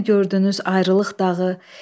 Sizdəmi gördünüz ayrılıq dağı?